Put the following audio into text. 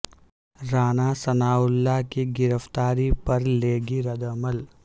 Rana Sanaullah کی گرفتاری پر لیگی رد عمل